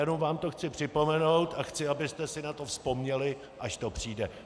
Jen vám to chci připomenout a chci, abyste si na to vzpomněli, až to přijde.